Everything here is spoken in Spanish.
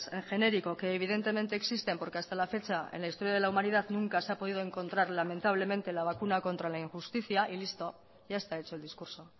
en genérico que evidentemente existen porque hasta la fecha en la historia de la humanidad nunca se ha podido encontrar lamentablemente la vacuna contra la injusticia y listo ya está hecho el discurso